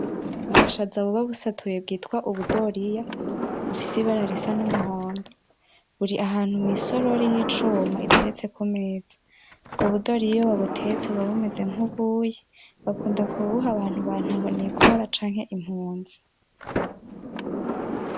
Nubushaza buba busatuye bwitwa ubudoriya, bufise ibara risa n'umuhondo, buri ahantu mw'isorori y'icuma iteretse ku meza, ubwo budoriya iyo babutetse buba bumeze nk'ubuyi, bakunda kubuha abantu ba ntahonikora canke impunzi.